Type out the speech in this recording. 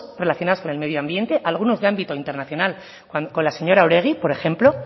relacionados con el medioambiente algunos de ámbito internacional con la señora oregi por ejemplo